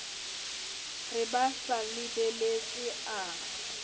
re ba sa lebeletse a